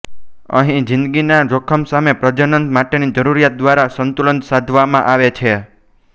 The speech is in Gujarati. અહીં જિંદગીના જોખમ સામે પ્રજનન માટેની જરૂરિયાત દ્વારા સંતુલન સાધવામાં આવે છે